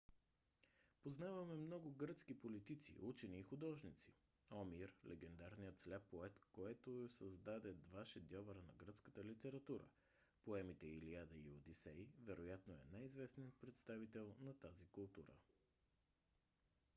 познаваме много гръцки политици учени и художници. омир - легендарният сляп поет който създаде два шедьовъра на гръцката литература: поемите илиада и одисей вероятно е най-известният представител на тази култура